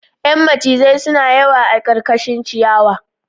Yan macizai suna yawa a karkashin ciyawa